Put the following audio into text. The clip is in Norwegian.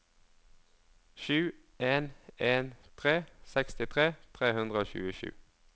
sju en en tre sekstitre tre hundre og tjuesju